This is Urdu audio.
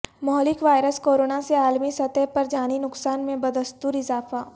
مہلک وائرس کورونا سے عالمی سطح پر جانی نقصان میں بدستور اضافہ